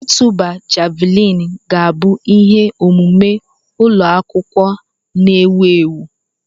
Ịtụba javuliini ga-abụ ihe omume ụlọ akwụkwọ na-ewu ewu.